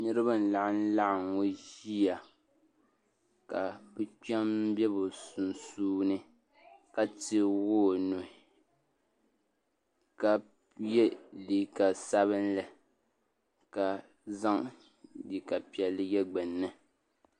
Niriba n laɣim laɣingu ʒiya kani kpem bɛ bi sunsuuni ka teegi o nuhi ka yi liiga sabinli ka zaŋ liiga piɛlli yɛ gbunni.